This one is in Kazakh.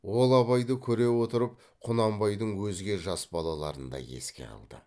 ол абайды көре отырып құнанбайдың өзге жас балаларын да еске алды